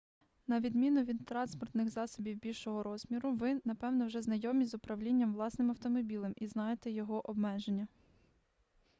на відміну від транспортних засобів більшого розміру ви напевно вже знайомі з управлінням власним автомобілем і знаєте його обмеження